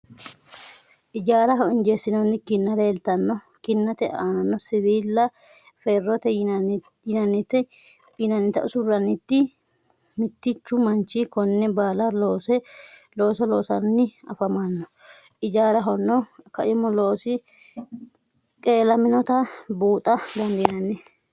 Ijaaraho injeessinoonni kinna leeltanno. Kinnate aanano siwiila ferrote yinannita usurroonni. Mittichu manchi konne baala looso loosanni afamanno. Ijaarahono kaimu loosi qeelaminota buuxa dandiinanni.